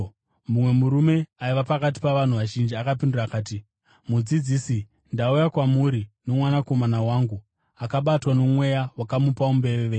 Mumwe murume aiva pakati pavanhu vazhinji akapindura akati, “Mudzidzisi, ndauya kwamuri nomwanakomana wangu, akabatwa nomweya wakamupa umbeveve.